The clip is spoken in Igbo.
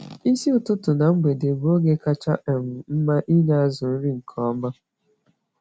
Isi ụtụtụ na mgbede bụ oge kacha um mma inye azụ nri nke ọma.